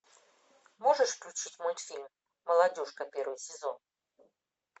можешь включить мультфильм молодежка первый сезон